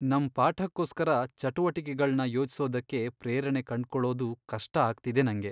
ನಮ್ ಪಾಠಕ್ಕೋಸ್ಕರ ಚಟುವಟಿಕೆಗಳ್ನ ಯೋಜಿಸೋದಕ್ಕೆ ಪ್ರೇರಣೆ ಕಂಡ್ಕೊಳೋದು ಕಷ್ಟ ಆಗ್ತಿದೆ ನಂಗೆ.